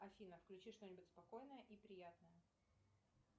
афина включи что нибудь спокойное и приятное